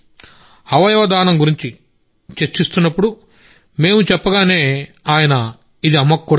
అవయవ దానం గురించి చర్చ జరుగుతుందని మేం చెప్పగానే ఆయన ఇది అమ్మకు కూడా ఇష్టం